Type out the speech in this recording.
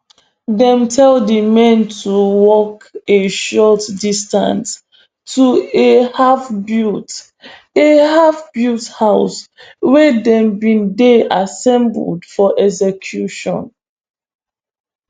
dem tell di men to walk a short distance to a halfbuilt a halfbuilt house wia dem bin dey assembled for execution